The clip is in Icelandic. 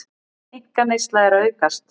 Einkaneysla að aukast